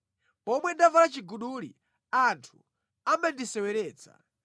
pomwe ndavala chiguduli, anthu amandiseweretsa.